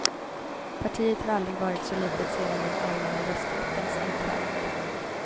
Partiet har aldrig varit så litet sedan den allmänna rösträttens införande.